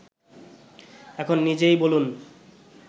এখন নিজেই বলুন